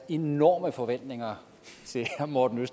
enorme forventninger til herre morten